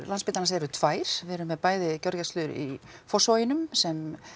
Landspítalans eru tvær við erum með bæði gjörgæslu í Fossvoginum sem